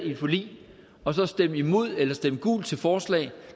i et forlig og så stemme imod eller stemme gult til forslag